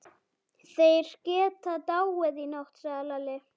Þeir geta dáið í nótt, sagði Lalli.